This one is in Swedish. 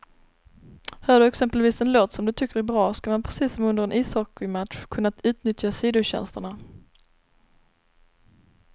Hör du exempelvis en låt som du tycker är bra, ska man precis som under en ishockeymatch kunna utnyttja sidotjänsterna.